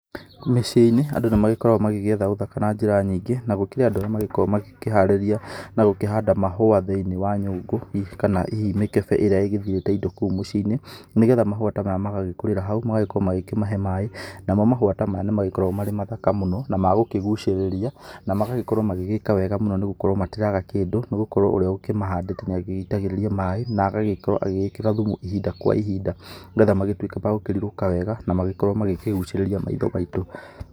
Mĩciĩ-inĩ, andũ nĩ magĩkoragwo magĩgĩetha ũthaka na njĩra nyingĩ, na gũkĩrĩ andũ arĩa magĩkoragwo makĩharĩria na gũkĩhanda mahũa thĩ-inĩ wa nyũngũ, kana hihi mĩkebe ĩrĩa ĩgithirĩte indo kou mũciĩ-inĩ. Nĩgetha mahũa ta maya magagĩkũrĩra hau magagĩkorwo magĩkĩmahe maĩ, namo mahũa ta maya nĩ magĩkoragwo marĩ mathaka mũno na ma gukĩgucĩrĩria na magagĩkorwo magĩgĩka wega mũno nĩ gũkorwo matiraga kĩndũ, nĩ gũkorwo ũrĩa ũkĩmahandĩte nĩ agĩitagĩrĩria maĩ na agagĩkorwo agĩgĩkĩra thumu ihinda kwa ihinda, nĩgetha magĩtuĩke ma gũkĩrirũka wega na magĩkorwo magĩkĩgucĩrĩria maitho maitũ.